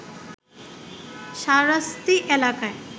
শাহরাস্তি এলাকায়